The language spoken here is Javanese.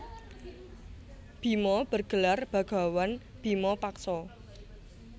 Bima bergelar bagawan bima paksa